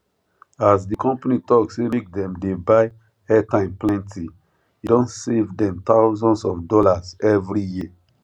as the company talk say make dem dey buy airtime plenty e don save dem thousands of dollars every year